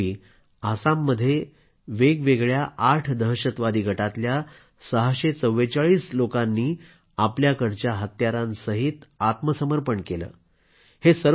काही दिवसांपूर्वी आसाममध्ये वेगवेगळ्या आठ दहशतवादी गटातल्या 644 लोकांनी आपल्याकडच्या हत्यारांसहित आत्मसमर्पण केलं